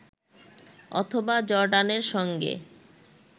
অথবা জর্ডানের সঙ্গে